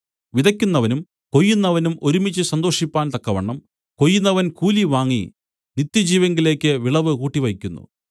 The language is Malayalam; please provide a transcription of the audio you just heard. വിതയ്ക്കുന്നവനും കൊയ്യുന്നവനും ഒരുമിച്ചു സന്തോഷിപ്പാൻ തക്കവണ്ണം കൊയ്യുന്നവൻ കൂലി വാങ്ങി നിത്യജീവങ്കലേക്ക് വിളവ് കൂട്ടിവയ്ക്കുന്നു